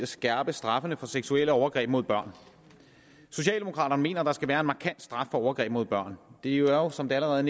skærpe straffene for seksuelle overgreb mod børn socialdemokraterne mener at der skal være en markant straf for overgreb mod børn det er jo som det allerede